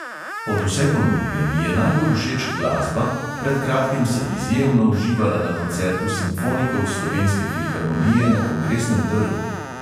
Od vse ponudbe mi je najbolj všeč glasba, pred kratkim sem izjemno uživala na koncertu simfonikov slovenske filharmonije na kongresnem trgu.